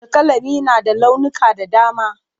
Alƙalami na da launuka da dama.